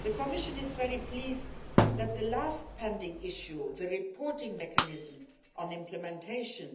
The Commission is very pleased that the last pending issue, the reporting mechanism on implementation,